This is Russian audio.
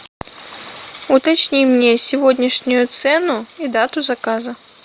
уточни мне сегодняшнюю цену и дату заказа